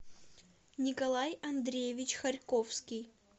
николай андреевич харьковский